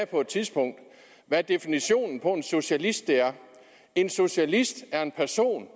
på et tidspunkt hvad definitionen på en socialist er en socialist er en person